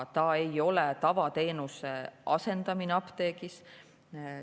See ei ole tavateenuse asendamine apteegis.